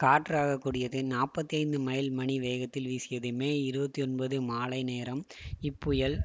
காற்று ஆகக்கூடியது நாற்பத்தி ஐந்து மைல் மணி வேகத்தில் வீசியது மே இருபத்தி ஒன்பது மாலை நேரம் இப்புயல்